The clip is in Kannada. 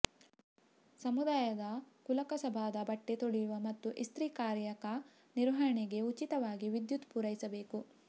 ಸಮುದಾಯದ ಕುಲಕಸಬಾದ ಬಟ್ಟೆ ತೊಳೆಯುವ ಮತ್ತು ಇಸ್ತ್ರಿ ಕಾಯಕ ನಿರ್ವಹಣೆಗೆ ಉಚಿತವಾಗಿ ವಿದ್ಯುತ್ ಪೂರೈಸಬೇಕು